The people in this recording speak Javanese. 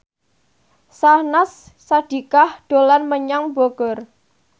Syahnaz Sadiqah dolan menyang Bogor